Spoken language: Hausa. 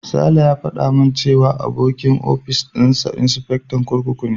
Sale ya faɗa min cewa abokin ofis dinsa insifectan kurkuku ne.